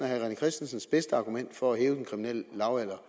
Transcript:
herre rené christensens bedste argument for at hæve den kriminelle lavalder